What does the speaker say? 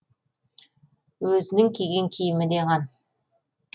өзінің киген киімі де қан